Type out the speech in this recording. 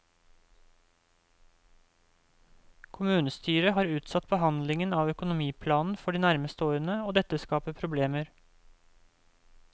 Kommunestyret har utsatt behandlingen av økonomiplanen for de nærmeste årene, og dette skaper problemer.